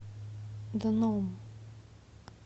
дном